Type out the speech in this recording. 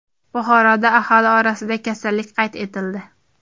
Buxoroda aholi orasida kasallik qayd etildi.